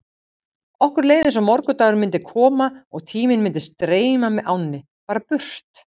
Okkur leið eins og morgundagurinn myndi koma og tíminn myndi streyma með ánni, bara burt.